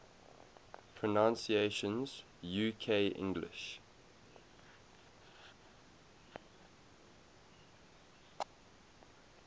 pronunciations uk english